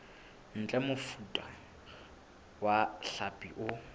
ntle mofuta wa hlapi o